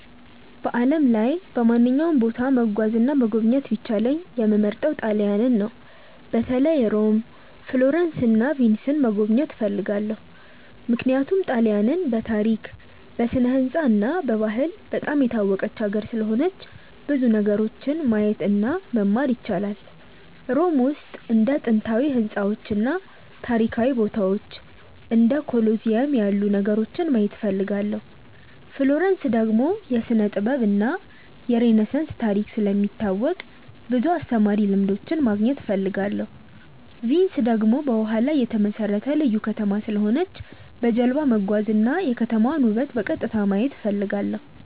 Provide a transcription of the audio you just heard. በዓለም ላይ በማንኛውም ቦታ መጓዝ እና መጎብኘት ቢቻለኝ የምመርጠው ጣሊያንን ነው። በተለይ ሮም፣ ፍሎረንስ እና ቪንስን መጎብኘት እፈልጋለሁ። ምክንያቱም ጣሊያንን በታሪክ፣ በስነ-ሕንፃ እና በባህል በጣም የታወቀች ሀገር ስለሆነች ብዙ ነገሮችን ማየት እና መማር ይቻላል። ሮም ውስጥ እንደ ጥንታዊ ሕንፃዎች እና ታሪካዊ ቦታዎች እንደ ኮሎሲየም ያሉ ነገሮችን ማየት እፈልጋለሁ። ፍሎረንስ ደግሞ የስነ-ጥበብ እና የሬነሳንስ ታሪክ ስለሚታወቅ ብዙ አስተማሪ ልምዶች ማግኘት እፈልጋለሁ። ቪንስ ደግሞ በውሃ ላይ የተመሠረተ ልዩ ከተማ ስለሆነች በጀልባ መጓዝ እና የከተማዋን ውበት በቀጥታ ማየት እፈልጋለሁ።